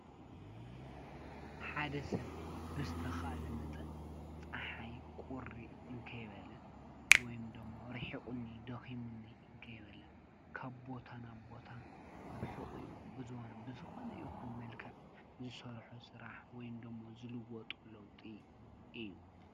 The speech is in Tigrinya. ሓደ ሰብ ብዝተኽኣለ መጠን ፀሓይ ቝሪ እንከይበለ ወይም ደሞ ርሒቝኒ ደኺሙኒ እንከይበለ ካብ ቦታ ንቦታ ብሒቝኡ ብዝዋኑ ብዝኾነ የኹን መልክዕ ዝሠርሖ ሥራሕ ወይምዶሞ ዝልወጡ ለውጢ እዩ።